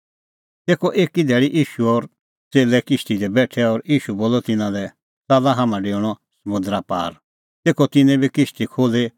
तेखअ एकी धैल़ी ईशू और च़ेल्लै किश्ती दी बेठै और ईशू बोलअ तिन्नां लै च़ाल्ला हाम्हां डेऊणअ समुंदरा पार तेखअ तिन्नैं बी किश्ती खोल्ही